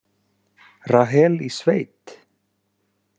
Rahel í sveit?